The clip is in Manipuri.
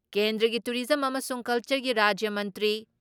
ꯀꯦꯟꯗ꯭ꯔꯒꯤ ꯇꯨꯔꯤꯖꯝ ꯑꯃꯁꯨꯡ ꯀꯜꯆꯔꯒꯤ ꯔꯥꯖ꯭ꯌ ꯃꯟꯇ꯭ꯔꯤ